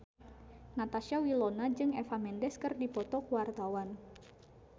Natasha Wilona jeung Eva Mendes keur dipoto ku wartawan